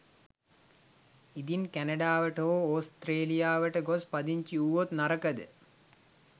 ඉදින් කැනඩාවට හෝ ඕස්ත්‍රේලියාවට ගොස් පදිංචී වූවොත් නරකද?